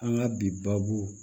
An ka bi baabu